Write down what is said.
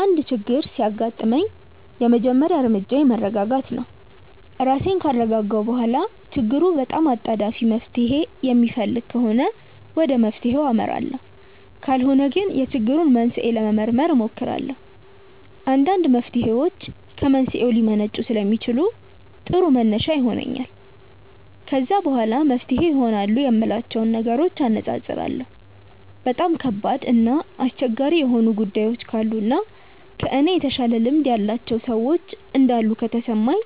አንድ ችግር ሲያጋጥመኝ የመጀመሪያ እርምጃዬ መረጋጋት ነው። ራሴን ካረጋጋሁ በኋላ ችግሩ በጣም አጣዳፊ መፍትሔ የሚፈልግ ከሆነ ወደ መፍትሔው አመራለሁ ካልሆነ ግን የችግሩን መንስኤ ለመመርመር እሞክራለሁ። አንዳንድ መፍትሔዎች ከመንስኤው ሊመነጩ ስለሚችሉ ጥሩ መነሻ ይሆነኛል። ከዛ በኋላ መፍትሄ ይሆናሉ የምላቸውን ነገሮች አነፃፅራለሁ። በጣም ከባድ እና አስቸጋሪ የሆኑ ጉዳዮች ካሉ እና ከእኔ የተሻለ ልምድ ያላቸው ሰዎች እንዳሉ ከተሰማኝ